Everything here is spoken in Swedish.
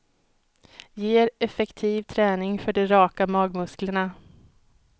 Ger effektiv träning för de raka magmusklerna.